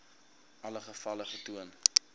alle gevalle getoon